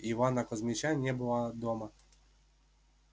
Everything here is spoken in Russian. ивана кузмича не было дома